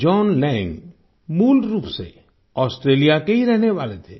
John Lang मूल रूप से ऑस्ट्रेलिया के ही रहने वाले थे